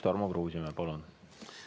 Tarmo Kruusimäe, palun!